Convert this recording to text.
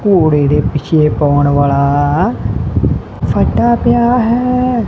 ਘੋੜੇ ਦੇ ਪਿੱਛੇ ਪਾਉਣ ਵਾਲਾ ਫੱਟਾ ਪਿਆ ਹੈ।